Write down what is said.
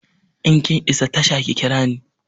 In kin isa tasha ki kira ni!